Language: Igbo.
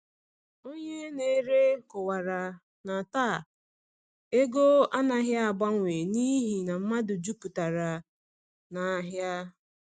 Onye na-ere kọwara na taa ego anaghị agbanwe n’ihi na mmadụ jupụtara n’ahịa.